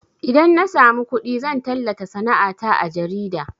Idan na samu kuɗi zan tallata sana'a ta a jarida